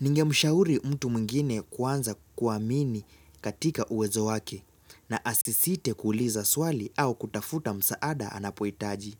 Ningemshauri mtu mwengine kuanza kuamini katika uwezo wake na asisite kuuliza swali au kutafuta msaada anapohitaji.